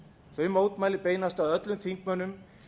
þau mótmæli beinast að öllum þingmönnum